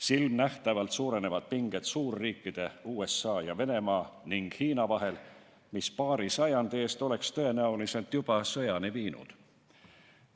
Silmanähtavalt suurenevad pinged suurriikide USA ja Venemaa ning Hiina vahel, paari sajandi eest oleks need tõenäoliselt juba sõjani viinud.